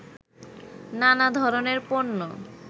নানা ধরনের পণ্য